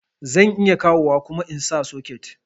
Zan iya kawowa kuma insa socket